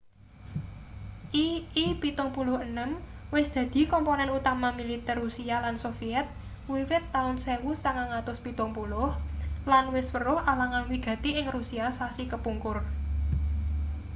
ii-76 wis dadi komponen utama militer rusia lan soviet wiwit taun 1970 lan wis weruh alangan wigati ing rusia sasi kepungkur